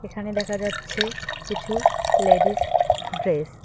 এখানে দেখা যাচ্ছে কিছু লেডিস ড্রেস ।